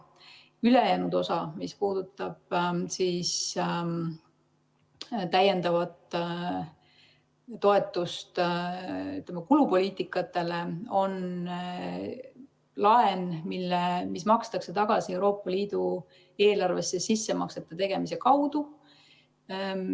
Ülejäänud osa, mis puudutab täiendavat toetust kulupoliitikatele, on laen, mis makstakse tagasi Euroopa Liidu eelarvesse sissemaksete tegemise kaudu.